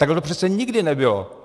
Takhle to přece nikdy nebylo.